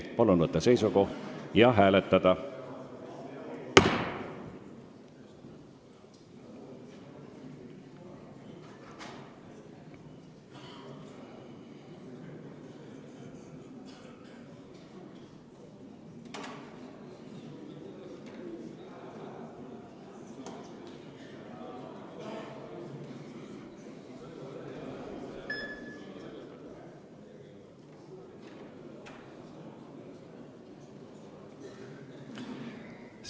Palun võtta seisukoht ja hääletada!